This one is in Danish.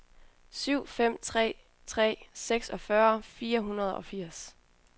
syv fem tre tre seksogfyrre fire hundrede og firs